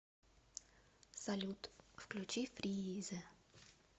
салют включи фрииизе